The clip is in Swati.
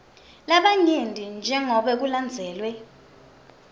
lamanyenti jengobe kulandzelwe